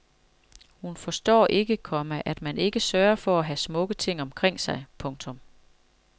Hun forstår ikke, komma at man ikke sørger for at have smukke ting omkring sig. punktum